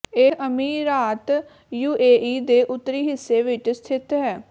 ਇਹ ਅਮੀਰਾਤ ਯੂਏਈ ਦੇ ਉੱਤਰੀ ਹਿੱਸੇ ਵਿਚ ਸਥਿਤ ਹੈ